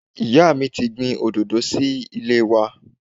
Ìyá mi ti gbin Òdòdó sí ilé wa